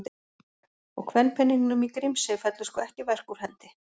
Og kvenpeningnum í Grímsey fellur sko ekki verk úr hendi.